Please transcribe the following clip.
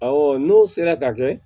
n'o sera ka kɛ